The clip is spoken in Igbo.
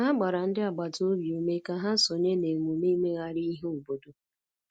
Ha gbara ndị agbata obi ume ka ha sonye na emume imegharị ihe obodo.